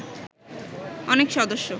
অনেক সদস্য